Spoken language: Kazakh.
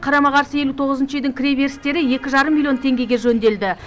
қарама қарсы елу тоғызыншы үйдің кіреберістері екі жарым миллион теңгеге жөнделді